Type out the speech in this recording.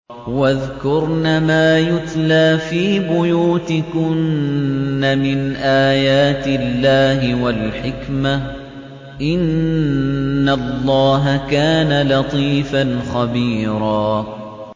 وَاذْكُرْنَ مَا يُتْلَىٰ فِي بُيُوتِكُنَّ مِنْ آيَاتِ اللَّهِ وَالْحِكْمَةِ ۚ إِنَّ اللَّهَ كَانَ لَطِيفًا خَبِيرًا